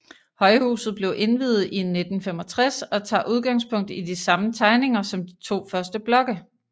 Højhuset blev indviet i 1965 og tager udgangspunkt i de samme tegninger som de to første blokke